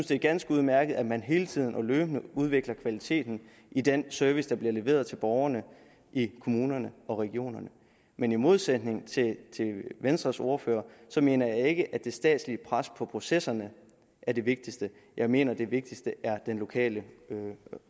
det er ganske udmærket at man hele tiden og løbende udvikler kvaliteten i den service der bliver leveret til borgerne i kommunerne og regionerne men i modsætning til venstres ordfører mener jeg ikke at det statslige pres på processerne er det vigtigste jeg mener at det vigtigste er den lokale